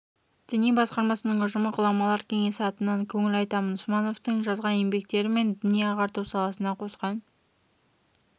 діни басқармасының ұжымы ғұламалар кеңесі атынан көңіл айтамын смановтың жазған еңбектері мен діни-ағарту саласына қосқан